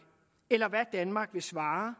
eller hvad danmark vil svare